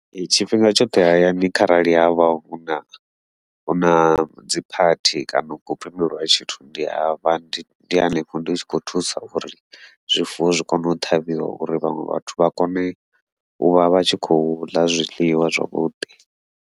Ee tshifhinga tshoṱhe hayani kharali havha huna huna dziphathi kana hu khou pembeliwa tshithu, ndi avha ndi ndi hanefho ndi tshi khou thusa uri zwifuwo zwi kone u ṱhavhiwa uri vhaṅwe vhathu vha kone uvha vha tshi khou ḽa zwiḽiwa zwavhuḓi.